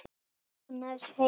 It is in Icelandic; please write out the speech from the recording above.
Er Agnes heima?